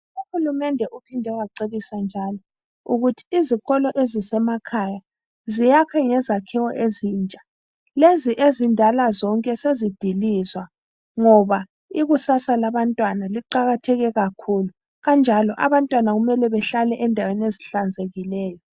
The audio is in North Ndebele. UHulumende uphinde wacebisa njalo ukuthi izikolo ezisemakhaya ziyakhwe ngezakhiwo ezintsha, lezi ezindala zonke sezidilizwa ngoba ikusasa labantwana liqakatheke kakhulu kanjalo abantwana kumele bahlale endaweni ezihlanzekileyo.